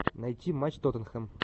найти матч тоттенхэм